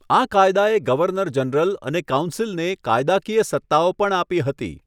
આ કાયદાએ governor general અને કાઉન્સિલને કાયદાકીય સત્તાઓ પણ આપી હતી.